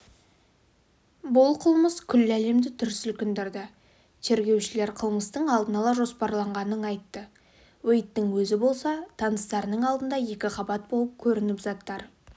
бұл қылмыс күллі әлемді дүр сілкіндірді тергеушілер қылмыстың алдын ала жоспарланғанын айтты уэйдтің өзі болса таныстарының алдында екіқабат болып көрініп заттар